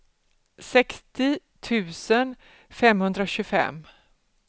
sextio tusen femhundratjugofem